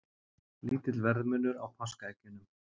Lítill verðmunur á páskaeggjunum